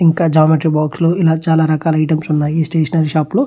ఇంకా geometry box లు ఇంకా చాల చాల ఐటమ్స్ ఉన్నాయ్. ఈ స్టేషనరీ షాప్ లో --